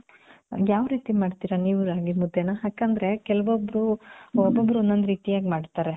ಯಾವ್ ರೀತಿ ಮಾಡ್ತಿರ ನೀವು ರಾಗಿ ಮುದ್ದೇನ? ಯಾಕಂದ್ರೆ ಕೆಲವೊಬ್ರು, ಒಬಬ್ರು ಒಂದ್ ಒಂದ್ ರೀತಿಯಾಗ್ ಮಾಡ್ತಾರೆ .